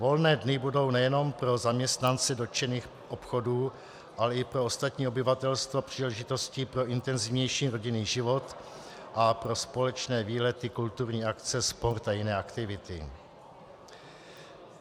Volné dny budou nejenom pro zaměstnance dotčených obchodů, ale i pro ostatní obyvatelstvo příležitostí pro intenzivnější rodinný život a pro společné výlety, kulturní akce, sport a jiné aktivity.